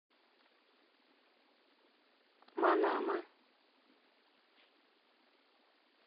манама